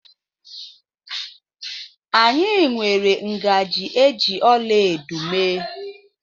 Anyị nwere ngaji eji ọlaedo mee